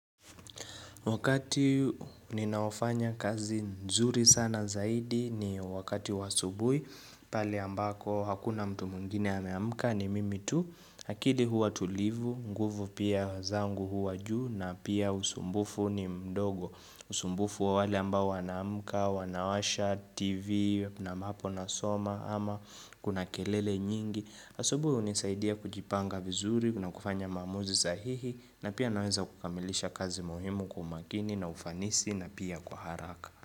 Wakati ninaofanya kazi nzuri sana zaidi ni wakati wa asubui pale ambako hakuna mtu mwingine ameamka ni mimi tu. Hakidi huwa tulivu, nguvu pia zangu huwa juu na pia usumbufu ni mdogo. Usumbufu wa wale ambao wanaamka, wanawasha TV na maapo nasoma ama kuna kelele nyingi. Asubui unisaidia kujipanga vizuri na kufanya maamuzi sahihi na pia naweza kukamilisha kazi muhimu kwa umakini na ufanisi na pia kwa haraka.